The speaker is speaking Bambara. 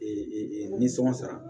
nisɔngɔ sara